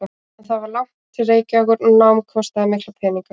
En það var langt til Reykjavíkur og nám kostaði mikla peninga.